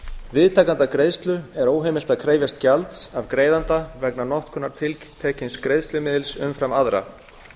viðtakanda greiðslu er óheimilt að krefjast gjalds af greiðanda vegna notkunar tiltekins greiðslumiðils umfram aðra